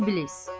İblis.